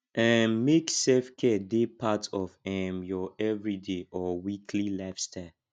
um make selfcare dey part of um your everyday or weekly lifestyle